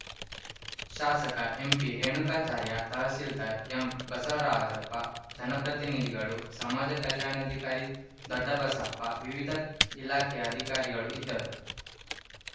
ಶಾಸಕ ಎಂಪಿ ರೇಣುಕಾಚಾರ್ಯ ತಹಸೀಲ್ದಾರ್‌ ಎಂಬಸವರಾಜಪ್ಪ ಜನಪ್ರತಿನಿಧಿಗಳು ಸಮಾಜ ಕಲ್ಯಾಣಾಧಿಕಾರಿ ದೊಡ್ಡಬಸಪ್ಪ ವಿವಿಧ ಇಲಾಖೆಯ ಅಧಿಕಾರಿಗಳು ಇದ್ದರು